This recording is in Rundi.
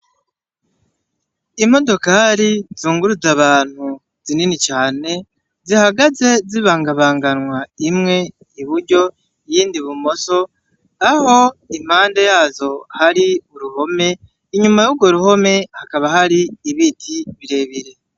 imodokori zunguruza abantu zinini cane zihagaze zibangabanganwa imwe iburyo iyindi ibumoso aho impande yazo hari uruhome inyuma yurwo ruhome hakaba hari ibiti birebire